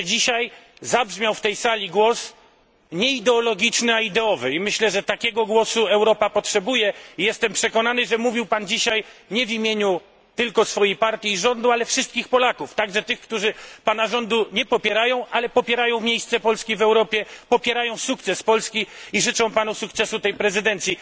Myślę, że dzisiaj zabrzmiał w tej sali głos nie ideologiczny a ideowy, i myślę, że takiego głosu Europa potrzebuje, i jestem przekonany, że mówił Pan dzisiaj nie tylko w imieniu swojej partii i rządu, ale wszystkich Polaków, także tych, którzy Pana rządu nie popierają, ale popierają miejsce Polski w Europie, popierają sukces Polski i życzą Panu sukcesu tej prezydencji.